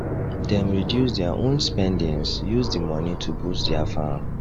dem reduce dia own spendings use di money to boost dia farm